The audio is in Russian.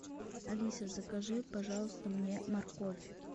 алиса закажи пожалуйста мне морковь